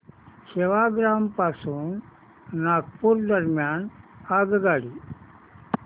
सेवाग्राम पासून नागपूर दरम्यान आगगाडी